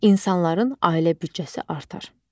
İnsanların ailə büdcəsi artar.